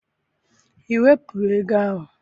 I wepụla ego ahụ?